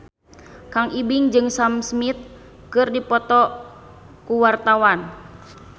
Kang Ibing jeung Sam Smith keur dipoto ku wartawan